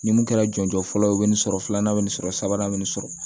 Ni mun kɛra jɔnjɔ fɔlɔ ye o be nin sɔrɔ filanan be nin sɔrɔ sabanan be nin sɔrɔ